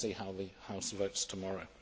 We will see how the House votes tomorrow.